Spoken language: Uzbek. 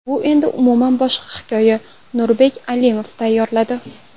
Bu endi umuman boshqa hikoya... Nurbek Alimov tayyorladi.